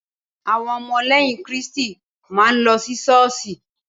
Áwon omo léyìn Kíriṣti máà ń lo Ṣọọsóì.